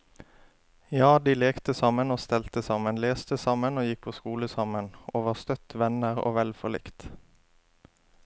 Ja, de lekte sammen og stelte sammen, leste sammen og gikk på skole sammen, og var støtt venner og vel forlikt.